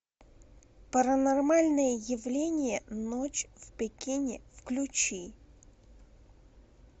паранормальное явление ночь в пекине включи